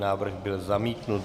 Návrh byl zamítnut.